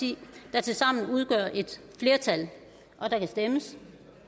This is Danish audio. der tilsammen udgør et flertal der kan stemmes